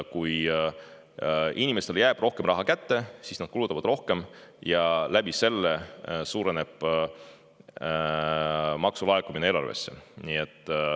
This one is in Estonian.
Kui inimestele jääb rohkem raha kätte, siis nad kulutavad rohkem ja nii suureneb maksulaekumine eelarvesse.